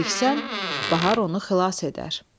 Geciksən, Bahar onu xilas edər.